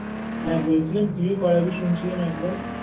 হ্যাঁ বলছিলাম তুই ও করাবি শুনছিলাম একবার